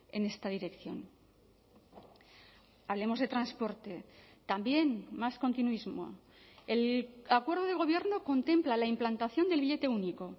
en esta dirección hablemos de transporte también más continuismo el acuerdo de gobierno contempla la implantación del billete único